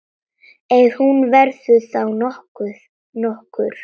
Ef hún verður þá nokkur.